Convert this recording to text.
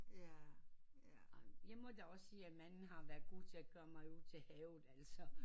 Jeg må da også at man har været god til at køre mig ud til havet altså